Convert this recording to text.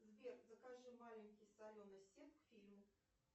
сбер закажи маленький соленый сет к фильму